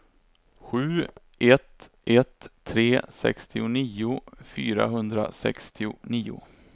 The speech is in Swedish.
sju ett ett tre sextionio fyrahundrasextionio